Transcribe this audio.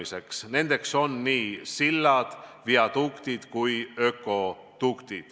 See taristu hõlmab nii sildu, viadukte kui ka ökodukte.